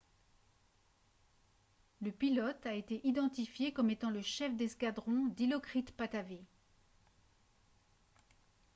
le pilote a été identifié comme étant le chef d'escadron dilokrit pattavee